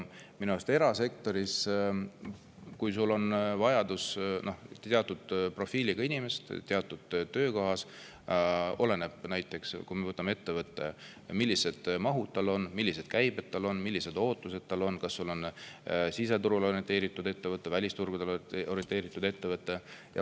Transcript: Kui erasektoris on vaja teatud profiiliga inimest teatud töökohas, oleneb minu arust näiteks sellest, millised on ettevõtte mahud, millised on käibed, millised on ootused, kas ettevõte on siseturule orienteeritud või välisturgudele orienteeritud.